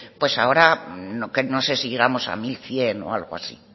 pues ahora no sé si llegamos a mil cien o algo así